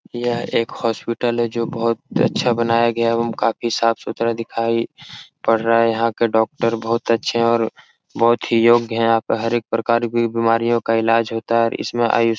यह एक हॉस्पिटल है। जो बहुत ही अच्छा बनाया गया है एवम काफी साफ सुधरा दिखाई पड़ रहा है यहाँ के डॉक्टर बहुत अच्छे है और बहुत ही योग्य है यहाँ पे हर एक प्रकार की बीमारियों का इलाज होता है इसमें आई --